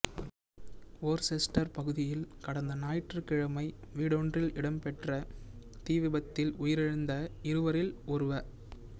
Worcester பகுதியில் கடந்த ஞாயிற்றுக்கிழமை வீடொன்றில் இடம்பெற்ற தீவிபத்தில் உயிரிழந்த இருவரில் ஒருவ